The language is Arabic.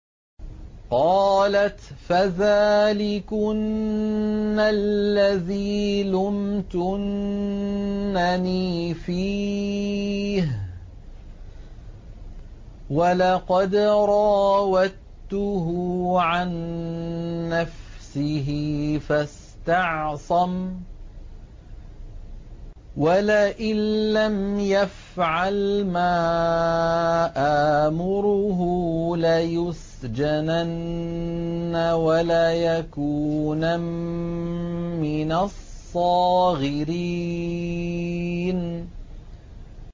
قَالَتْ فَذَٰلِكُنَّ الَّذِي لُمْتُنَّنِي فِيهِ ۖ وَلَقَدْ رَاوَدتُّهُ عَن نَّفْسِهِ فَاسْتَعْصَمَ ۖ وَلَئِن لَّمْ يَفْعَلْ مَا آمُرُهُ لَيُسْجَنَنَّ وَلَيَكُونًا مِّنَ الصَّاغِرِينَ